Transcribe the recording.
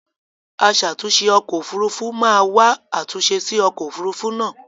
Aṣàtunṣè ọkọ̀ òfurufú máa wa àtúnṣe sí ọkọ̀ òfurufú náà